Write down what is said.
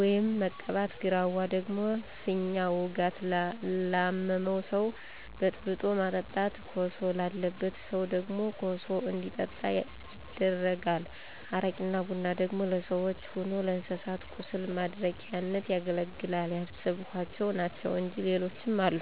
ወይም መቀባት። ግራዋ ደግሞ ፊኛ ውጋት ላመመው ሰው በጥብጦ ማጠጣት። ኮሶ ላለበት ሰው ደግሞ ኮሱ እንዲጠጣ ይደረጋል። አረቂና ቡና ደግሞ ለሰዎችም ሆነ ለእንስሳት ቁስል ማድረቂያነት ያገለግላል። ያሰብኋቸው ናቸው እንጅ ሌሎችም አሉ።